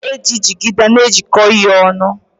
A na-eji njigide wee na ejiko ihe onu.